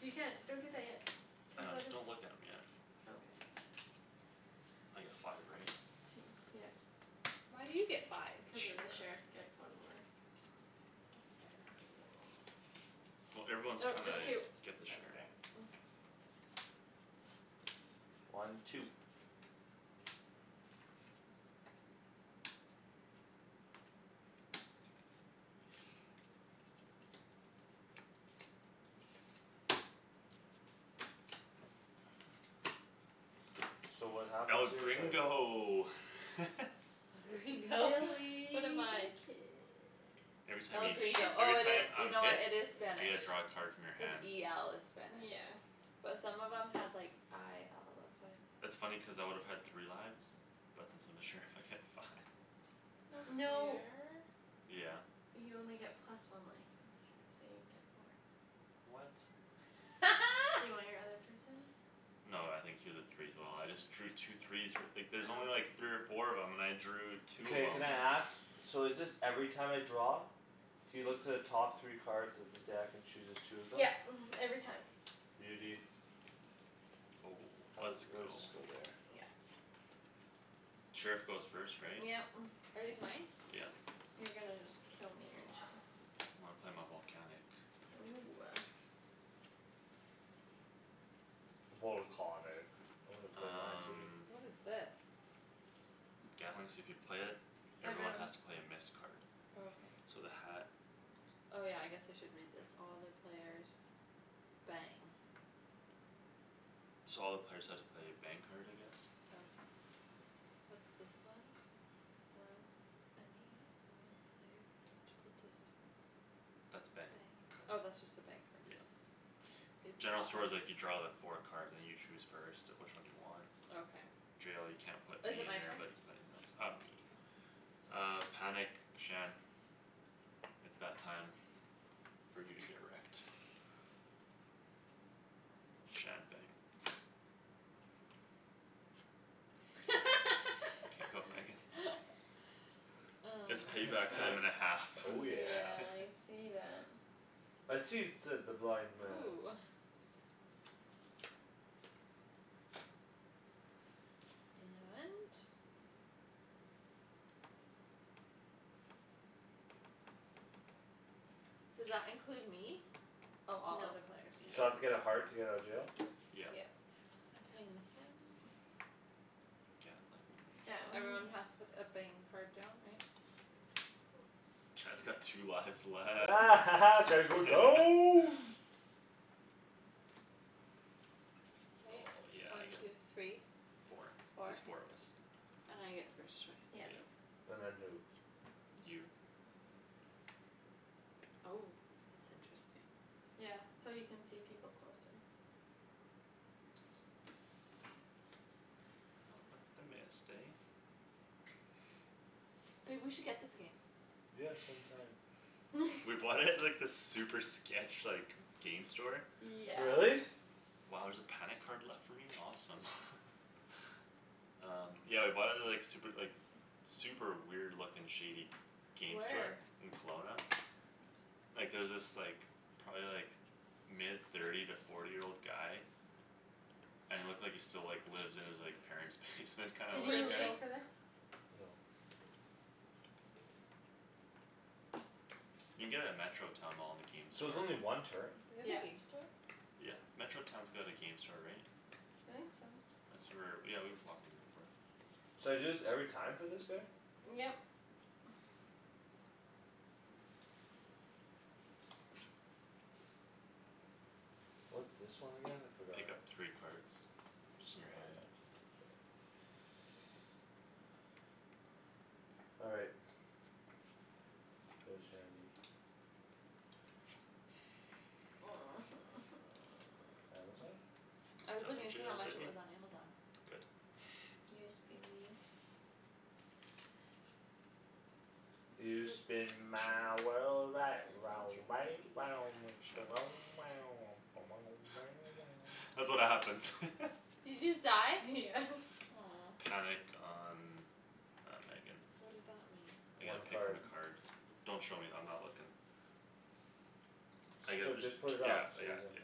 You can't, don't drink that yet. I Cuz know, what if don't look at 'em yet. Okay. I get five, right? Two, yep. Why do you get five? The Cuz the sheriff sheriff. gets one more. No fair. Well, everyone's Oh, trying just two. to get the That's sheriff. better. One, two. So what happens El here? Sorry. gringo! El Gringo. What Willy am the I? kid. Every time El you shoo- Gringo, oh every it time i- you I'm know what, hit it is I Yeah. Spanish. get to draw a card from your Cuz hand. e l is spanish. Yeah. But some of them had, like, i l, That's that's why I thought funny cuz I would have had three lives. But since I'm the sheriff, I get five. No No. fair. Yeah. You only get plus one life as a sheriff, so you get four. What? Do you want your other person? No, I think he was a three as well; I just drew two threes f- like, there's only like Oh. three or four of 'em and I drew two of Mkay, 'em. can I ask? So is this every time I draw? He looks at the top three cards of the deck and chooses two of them? Yep, mhm, every time. Beauty. Oh, How is let's it, where does go. this go there? Yep. Sheriff goes first, right? Yep. Are these mine? Yeah. You're gonna just kill me, aren't you? When I play my volcanic. Ooh. Volcahnic. I wanna play mine too. Um What is this? Gatling, so if you play it, everyone Everyone. has to play a missed card. Okay. So the hat Oh, yeah, I guess I should read this. All the players bang. So all the players have to play a bang card, I guess? Okay. What's this one? any one player of reachable distance. That's a bang Bang. Oh, card. that's just a bang card. Yeah. General store's like, you draw the four cards and you choose first of which one you want. Okay. Jail, you can't put me Is it in my there turn? but you can put anything else. Uh, me. Okay. Uh, panic, Shan. It's that time For you to get wrecked. Shan, bang. Get wrecked. K, go, Megan. It's Mm. payback time and a half. Oh, yeah. Yeah, I see that. I sees, said the blind man. Ooh. And Does that include me? Oh, all other Nope. players, So I have to Yeah. no. get a heart to get out of jail? Yeah. Yep. I'm playing this one. Gatling. Gatling. Everyone has to put a bang card down, right? Shan's got two lives left. Shan's going down. Right? Oh, yeah, I One, get two, three. Four. Four. There's four of us. And I get first choice, Yep. Yeah. right? And then who? You. Oh. That's interesting. Yeah. So you can see people closer. Not with the missed, eh? Babe, we should get this game. Yeah, some time. We bought it at, like, this super sketch, like, g- game store. Yeah. Really? Wow, there's a panic card left for me? Awesome. Um, yeah, we bought it at the, like, super, like, super weird looking shady game store. Where? In Kelowna. Oops. Like, there was this, like, probably like mid thirty to forty year old guy And it looked like he still, like, lives in his, like, parents' basement kinda Did looking you guy. go Really? for this? No. You can get it at Metro Town mall in the game So it's store. only one turn? They have a Yeah. game store? Yeah. Metro Town's got a game store, right? I think so. That's where, yeah, we've walked in there before. So I do this every time for this guy? Yep. What's this one again? I forgot. Pick up three cards. Just in Yeah, your hand. that's All right. Go Shandie. Amazon? I It's was not in looking to see how jail, much it biggie. was on Amazon. Good. Yes, be mean. You spin my Shandryn. world right round, I want right to round, when Shan That's what happens. Did you just die? Yeah. Aw. Panic on, uh, Megan. What does that mean? I get One to pick from card. a card. Don't show me; I'm not looking. I Just get put, just just put t- it yeah, back, so you're yeah, done. yeah.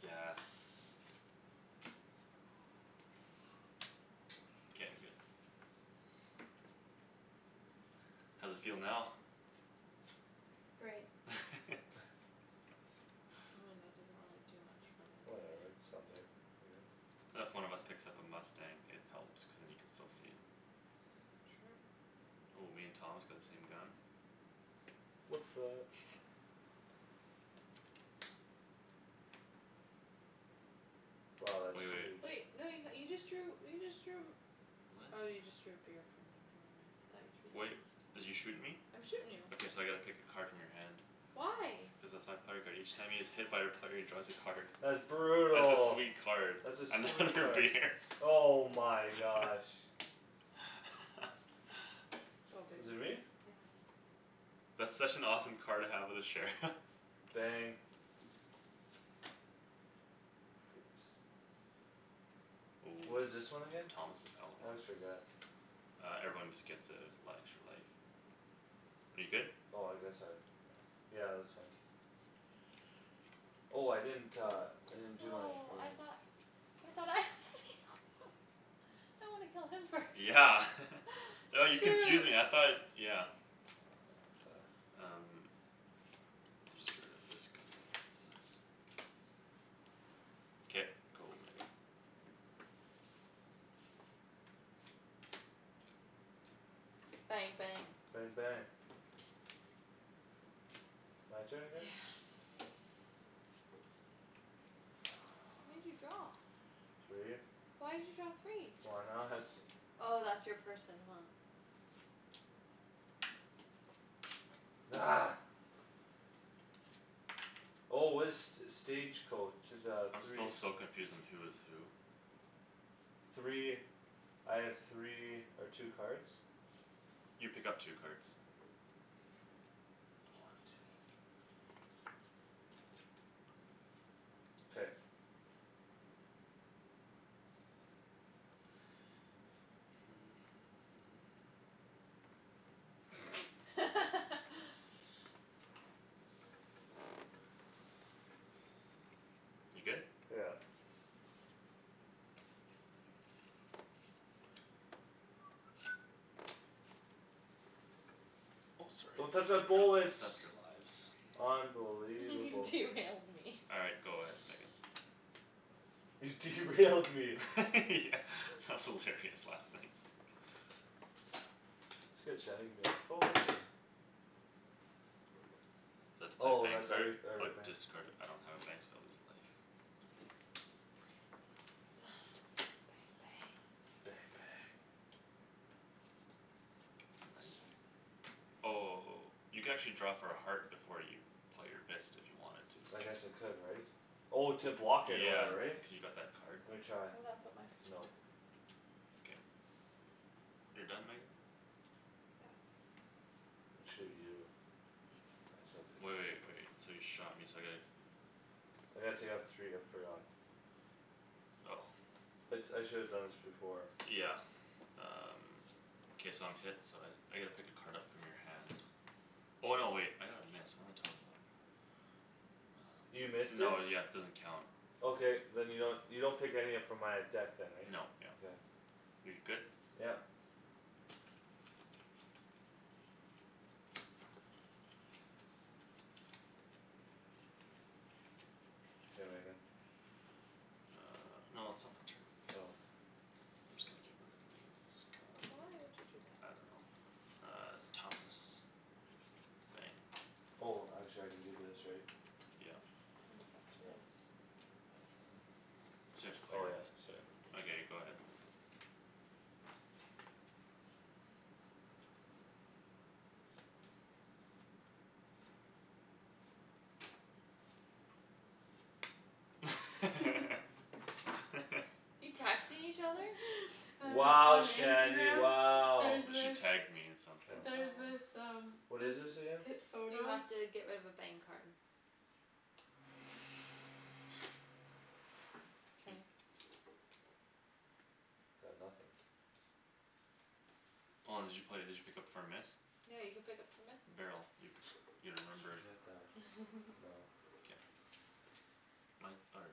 Yes. K, I'm good. How's it feel now? Great. I mean, that doesn't really do much for me. Whatever, it's something. I guess. If one of us picks up a mustang, it helps cuz then you can still see him. True. Oh, me and Thomas got the same gun. What's up! Wow, that's Wai- wait. huge. Wait, no, you h- you just drew, you just drew Oh, you just drew a What? beer from me, never mind. I thought you drew Wait, this. did you shoot me? I'm shootin' you. Okay, so I gotta pick a card from your hand. Why? Cuz that's my player card. Each time he is hit by a player, he draws a card. That's That's a brutal. sweet card. That's a sweet Another card. beer. Oh my gosh. Go, Is it babe. me? Yeah. That's such an awesome card to have with a sheriff. Bang. Freaks. Ooh, What is this one so again? Thomas is I outlaw? always forget. Uh, everyone just gets a li- extra life. Are you good? Oh, I guess I have, yeah. Yeah, that's fine. Oh, I didn't uh, I didn't do that for Oh, I you. thought I thought I was the outlaw. I wanna kill him first. Yeah. Oh, you confused me, I Shoot. thought, yeah. Um. I'll just get rid of this gun, yes. K, go, Megan. Bang, bang. Bang, bang. My turn Yeah. again? How many did you draw? Three. Why'd you draw three? Why not? Oh, that's your person, huh? Argh. Oh, what is st- stage coach, the I'm still three so confused on who is who. Three, I have three or two cards? You pick up two cards. One, two. K. You good? Yeah. Oh, sorry. Don't touch Messed my up your, messed up bullets. your lives. Unbelievable. Derailed me. All right, go ahead Megan. You derailed me. Yeah, that was hilarious last night. That's good Shandryn; give me that phone. So I have to play a Oh, bang that's every, card? Or every bang. discard a- I don't have a bang so I lose a life. Mkay. Yes. Bang, bang. Bang, bang. Nice. Oh, you can actually draw for a heart before you play your missed if you wanted to. I guess I could, right? Oh, to block it or Yeah, whatever, right? cuz you got that card. Lemme try. Oh, that's what my person No. is. K. You're done, Megan? Yeah. I shoot you. I shall pick Wai- wait, wait, this so you shot me so I gotta I gotta take off three, I forgot. Oh. It's, I shoulda done this before. Yeah. Um K, so I'm hit, so I s- I get to pick a card up from your hand. Oh, no, wait, I got a miss, what am I talking about? You Um missed it? no, yes, it doesn't count. Okay, then you don't, you don't pick any up from my uh deck then, right? Nope, yep. Okay. You're good? Yep. K, Megan. Uh, no, it's still my turn. Oh. I'm just gonna get rid of Megan's gun. But why would you do I that? don't know. Uh, Thomas. Bang. Oh, actually I can do this, right? Yep. No, but that's So now yours. it's, that's five? So you have to play Oh your yeah, missed, sorry. yeah. Okay, go ahead. You texting each other? Wow, On Shandie, Instagram, wow. there's she this tagged me in something. there's Oh. this Oh. um What is this this again? pip You photo have to get rid of a bang card. K. Got nothing. Hold on, did you play, did you pick up for a miss? No, you can pick up for missed? Barrel. You p- you Just remember forget that. No. K. My, or,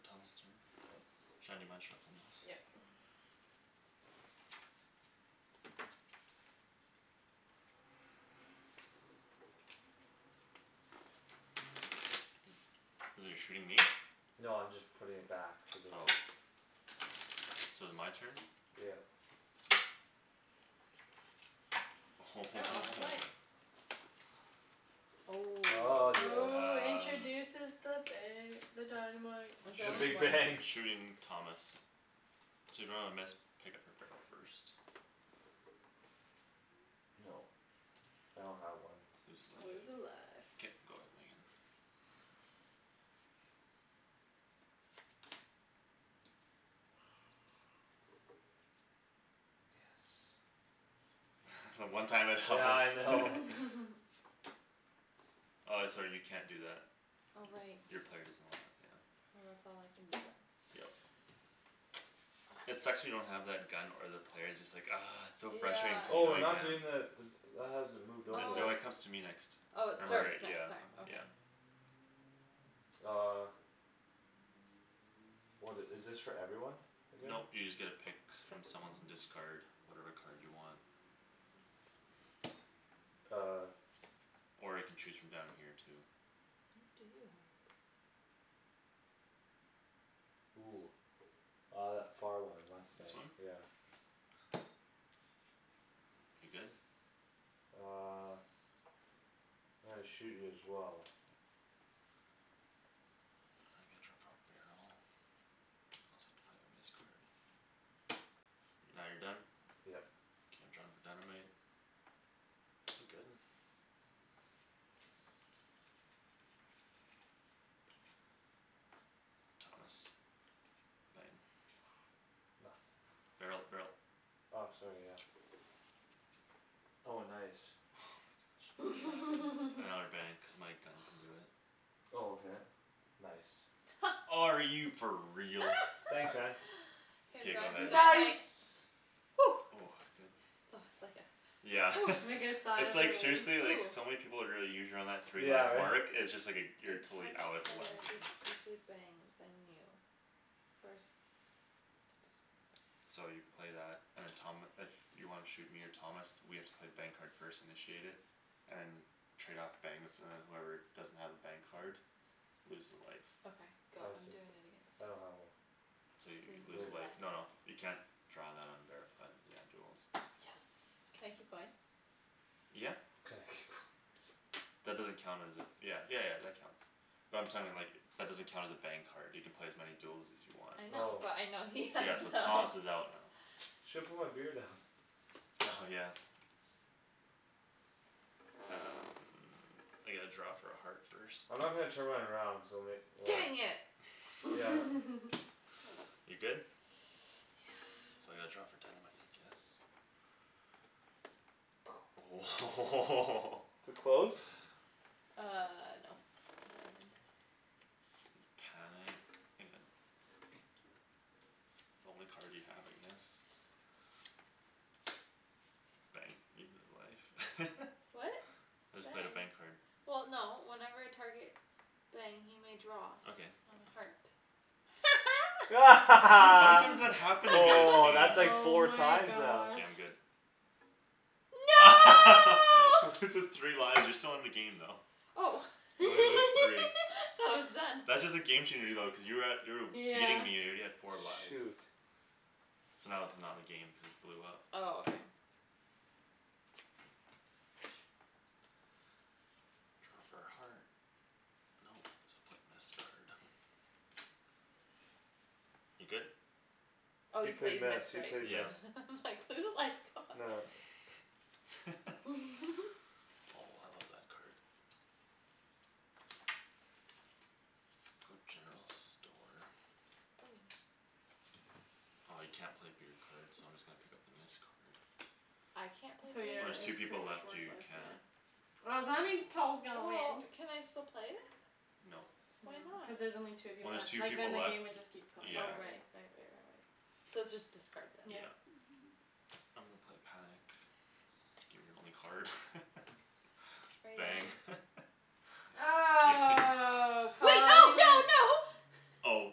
Thomas' turn? Yep. Shan, you mind shuffling those? Yep. You're shooting me? No, I'm just putting it back cuz I Oh. took So is my turn? Yep. Oh. Ah, yes. Oh, Um. introduces the ba- the dynamite. I The I'll draw only big shoot, one. bang. shooting Thomas. So if you don't have a miss, pick up for barrel first. Nope. I don't have one. Lose Lose a life. life. K, go ahead, Megan. Yes. The one time it helps. Yeah, I know. Uh, sorry, you can't do that. Oh, right. Y- your player doesn't allow it, yeah. Well, that's all I can do then. Yep. It sucks when you don't have that gun or the player; it's just like, argh. It's just so frustrating Yeah. cuz you Oh, know we're you not can. doing the d- d- that hasn't moved over, Th- no, Oh. right? it comes to me next. Oh, it Remember, Oh. starts yeah. next time. Okay. Yeah. Uh. What i- is this for everyone again? Nope, you just get to pick Pick from someone. someone's and discard whatever card you want. Uh. Or you can choose from down here too. What do you have? Ooh. Uh, that far one, This mustang. one? Yeah. You're good? Uh. I'm gonna shoot you as well. Uh, I gotta draw for a barrel? I also have to play my miss card. Now you're done? Yep. K, I'm drawing for dynamite. I'm good. Thomas. Bang. Nothing. Barrel, barrel. Ah, sorry, yeah. Oh, nice. Oh my gosh. Another bang cuz my gun can do it. Oh, okay. Nice. Are you for real? Thanks, man. K, I'm K, go drawing for ahead. dynamite. Nice! Oh, good. That was like a Yeah. Like a sigh It's of like relief. seriously, like, Ooh. so many people would really three Yeah, life right? mark; it's just like a, A you're totally out target if it player lands on you. discards a bang, then you. First player to discard So you play that and then Tom, if you wanna shoot me or Thomas, we have to play bang card first, initiate it. And then trade off bangs, and then whoever doesn't have a bang card Loses a life. Okay, go. I I'm see. doing it against I you. don't have one. So you So you lose lose a life. life, no, no, you can't draw that on bar- on, yeah, duels. Yes. Can I keep going? Yeah. Can I keep going. That doesn't count as a, yeah, yeah yeah, that counts. But I'm like, that doesn't count as a bang card. You can play as many duels as you want. I know, Oh. but I know he has Yeah, so none. Thomas is out now. Shoulda put my beer down. Oh, yeah. Um, I get to draw for a heart first. I'm not gonna turn mine around cuz I'll ma- well Dang Why? it! Yeah. You're good? Yeah. So I gotta draw for dynamite, I guess. Oh Too close? Uh, no. Diamond. Panic, Megan. The only card you have, I guess. Bang. You lose a life. What? I just played a bang Bang. card. Well, no, whenever a target Bang, he may draw Okay. on a heart. How many Woah, times that happened to me this game? that's like Oh four my times now. K, gosh. I'm good. No! Loses three lives, you're still in the game, though. Oh. You only lose three. Thought it was done. That's just a game changer, though cuz you were at, you were w- beating Yeah. me, you're already at four lives. Shoot. So now this is not in the game, cuz it blew up. Oh, okay. Draw for a heart. Nope, so I'll play a missed card. You lose a life. You good? Oh, He you play played miss, missed, he right? played Yeah. miss. I'm like, "Lose a life, god." Nah. Oh, I love that card. Go general store. Oh. Ah, you can't play beer cards so I'm just gonna pick up the miss card. I can't play So beer When your, there's cards? two it's pretty people much left, you worthless, can't. yeah. Oh, so that means Paul's gonna Well, win. can I still play it? Nope. No, Why cuz not? there's only two of you When there's left. two Like, then people the left, game would just keep going yeah. Oh, forever. right. Right right right right.. So it's just discard then. Yeah. Yeah. I'm gonna play panic. Gimme your only card. Are you Bang. done? Oh, Wait, no, no, Paul no! Oh.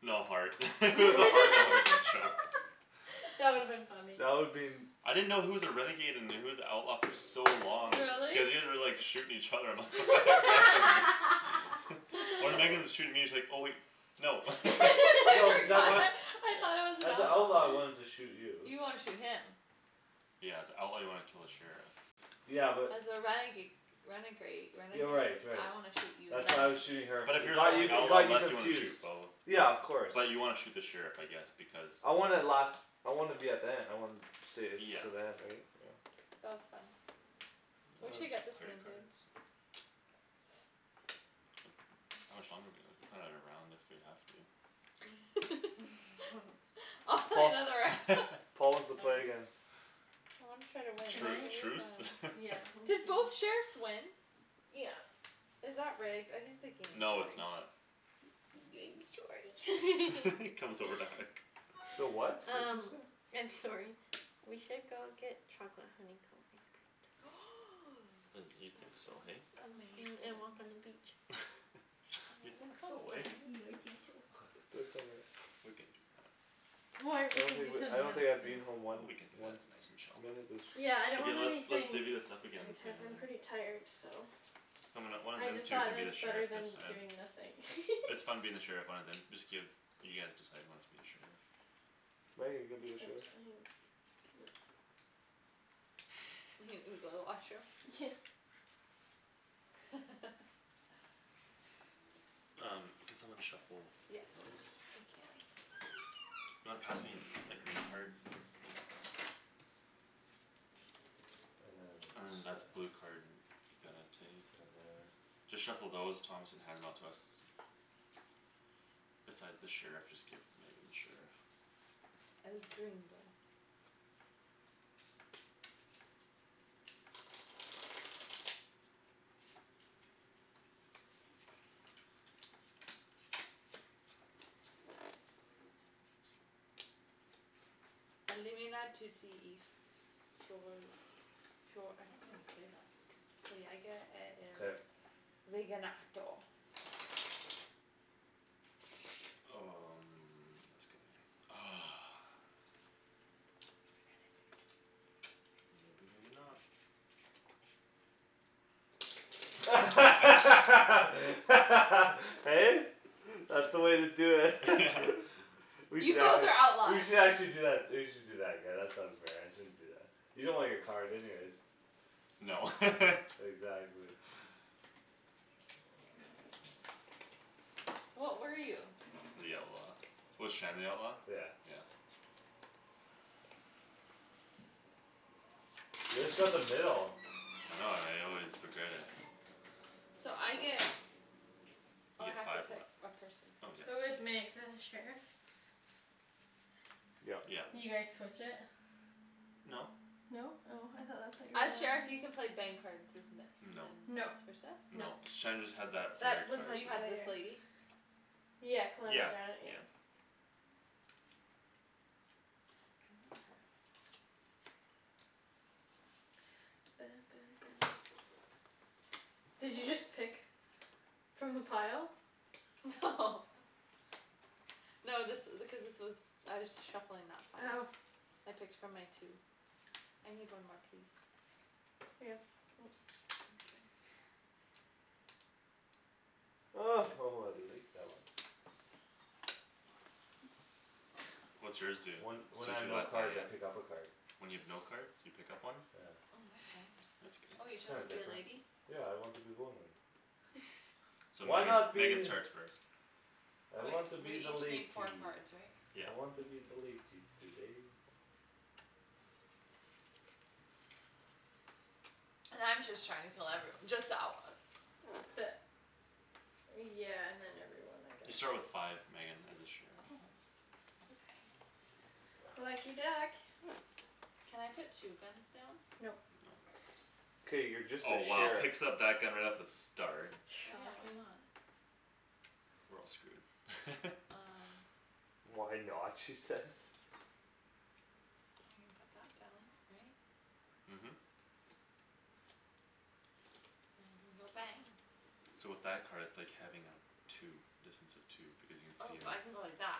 No heart. If it was a heart, I woulda been choked. That would've been funny. That would been I didn't know who was a renegade and who was the outlaw for so long. Really? Cuz you guys were, like, shooting each other, I'm like, "What the heck is happening?" When Outlaw. Megan's shooting me, it's like, oh wait, no. No, cuz I want I thought I was an As a outlaw, I outlaw. wanted to shoot you. You wanna shoot him. Yeah, as a outlaw, you wanna kill the sheriff. Yeah, but. As a renega- renegrade, Yeah, renegade? right, right. I wanna shoot you and That's then why I her. was shooting her But f- if it you're the got you, only it outlaw got you left, you wanna shoot confused. both. Yeah, But, of course. but you wanna shoot the sheriff, I guess, because I wanna last, I wanna be at the end, I wanna stay Yeah. till the end, right? Yeah. That was fun. It We Uh, was. should get this player game, babe. cards? How much longer do we have? We can play another round if we have to. I'll play Paul, another round. Paul wants to All play right. again. Well, I'm try to win, Can Tru- that I? was really truce? fun. Yeah, Did okay. both sheriffs win? Yeah. Is that rigged? I think the game's No, it's rigged. not. sorry. comes over to hug. The what? What's Um it say? I'm sorry. We should go get chocolate honeycomb ice cream tonight. And, you That think so, hey? sounds amazing. Mhm, and walk on the beach. You Aw, that think sounds so, eh? nice. Yeah, I think so. Do it so much. We can do that. Or I we don't could think do w- I something don't else think I'd too. be in home Well, one, we can do that, one it's nice and chill. minute this Yeah, I don't Okay, want let's, let's anything divvy this up again and play intense, I'm pretty another. tired, so. Someone that- one of I them just two thought can that be the it's better sheriff this than time. doing nothing. It's fun being the sheriff, one of them, just give, you guys decide who wants to be the sheriff. Meg, are you gonna be the Except sheriff? I have go to the washroom. Um, can someone shuffle Yes, those? I can. You wanna pass me the green card? Yeah. And then And this then guy. that's blue card, you gotta take. Then there Just shuffle those, Thomas, and hand them out to us. Besides the sheriff, just give Megan the sheriff. El Gringo. I don't know how to say that. Mkay. Um, this guy. Ah. You're the renegade. Maybe, maybe not. Hey? That's the way to do it. We You should both actually, are we outlaws! should actually do that, we should do that again, that sounds fair, I shouldn't do that. You don't want your card anyways. No. Exactly. What were you? The outlaw. Was Shan the outlaw? Yeah. Yeah. You just got the middle. I know, and I always regret it. So I get You Oh, I get have to five life. pick a person. Oh, yeah, Who is Meg, yeah. the sheriff? Yep. Yeah. You guys Mhm. switch it? No. No? Oh, I thought that's what you As sheriff, you can were play bang cards as miss No. and Nope. vice versa? Nope. No. Shan just had that player That was card my You had this player. lady? Yeah, Calamity Yeah. Janet, yeah. Yeah. I want her. Did you just pick From the pile? No. No, this i- because this was I was shuffling that pile. Oh. I picked from my two. I need one more, please. Yeah. Thank you. Oh, oh, I like that one. What's yours do? When, when I have Suzy no cards, I Lafayette? pick up a card. When you have no cards, you pick up one? Yeah. Mm, that's nice. That's Oh, you good. chose Kinda to be a different. lady? Yeah, I want to be woman. So Why Megan, not Megan be starts first. I Oh, wait, want to we be the each latey. need four cards, right? Yeah. I want to be the latey today. And I'm just trying to kill everyo- just the outlaws. The Yeah, and then everyone, I You guess. start with five, Megan, as a sheriff. Oh. Okay. Lucky duck. Can I put two guns down? Nope. No. K, you're just the Oh, wow, sheriff. picks up that gun right off the start. Well, yeah, why Shocking. not? We're all screwed. Um. "Why not?" she says. Well, I can put that down, right? Mhm. go bang. So with that card, it's like having a two, distance of two, because you can Oh, see so him, I can go like that.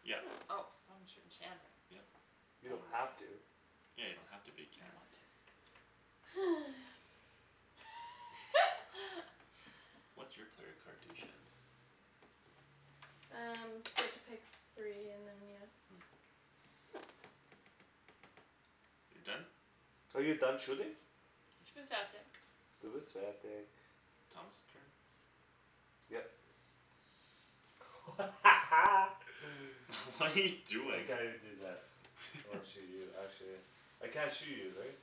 yep. Oh, so I'm shooting Shandryn. Yep. You Bang, don't bang. have to. Yeah, you don't have to, but you I can. want to. What's your player card do, Shan? Um, get to pick three and then, yeah. Mm. You're done? Are you done shooting? Du bist fertig. Thomas' turn? Yep. What are you I doing? can't even do that. I wanna shoot you, actually. I can't shoot you, right?